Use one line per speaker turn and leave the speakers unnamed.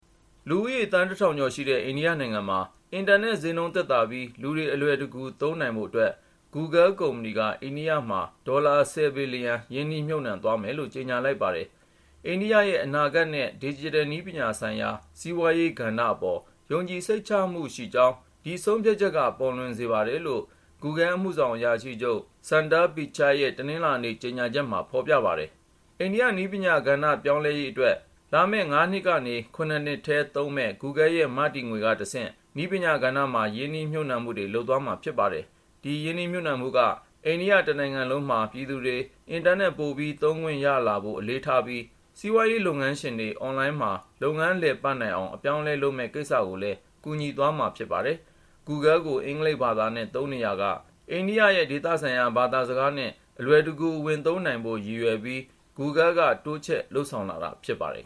လူဦးရေ သန်းတစ်ထောင်ကျော်ရှိတဲ့ အင်တာနက် ဈေးနှုန်းသက်သာပြီး လူတွေ အလွယ်တကူ သုံးနိုင်ဖို့အတွက် Google ကုမ္ပဏီက ဒေါ်လာ (၁၀)ဘီလျံ ရင်းနှီးမြှုပ်နှံ သွားမယ်လို့ ကြေညာလိုက်ပါတယ်။ အနာဂတ်နဲ့ ဒစ်ဂျစ်တယ် နည်းပညာဆိုင်ရာ စီးပွားရေးကဏ္ဍ အပေါ် ယုံကြည်စိတ်ချမှုရှိကြောင်း ဒီဆုံးဖြတ်ချက်က ပေါ်လွင်စေပါတယ်လို့ Google အမှုဆောင်အရာရှိချုပ် Sundar Pichai ရဲ့ တနင်္လာနေ့ထုတ် ကြေညာချက်မှာ ဖေါ်ပြပါတယ်။ နည်းပညာပြောင်းလဲရေးအတွက် လာမယ့် ၅ နှစ်ကနေ ၇ နှစ်ထဲ သုံးမယ့် Google ရဲ့ မတည်ငွေကတဆင့် နည်းပညာကဏ္ဍမှာ ရင်းနှီးမြှုပ်နှံမှု လုပ်သွားမှာဖြစ်ပါတယ်။ ဒီရင်းနှီးမြှုပ်နှံမှုက တနိုင်ငံလုံးမှာ ပြည်သူတွေ အင်တာနက် ပိုပြီး သုံးခွင့်ရလာဖို့ အလေးထားပြီး ၊ စီးပွားရေးလုပ်ငန်းရှင်တွေ အွန်လိုင်းမှာ လုပ်ငန်း လည်ပတ်နိုင်အောင် အပြောင်းအလဲလုပ်မယ့် ကိစ္စကိုလည်း ကူညီသွားမှာ ဖြစ်ပါတယ်။ Google ကို အင်္ဂလိပ်ဘာသာနဲ့ သုံးနေရာ ဒေသဆိုင်ရာ ဘာသာစကားနဲ့ အလွယ်တကူ ဝင်သုံးနိုင်ဖို့ ရည်ရွယ်ပြီး Google က တိုးချဲ့လုပ်ဆောင်လာတာ ဖြစ်ပါတယ်